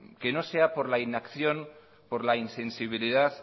que no sea por la inacción por la insensibilidad